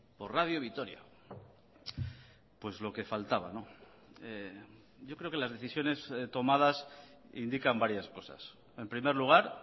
por radio vitoria pues lo que faltaba yo creo que las decisiones tomadas indican varias cosas en primer lugar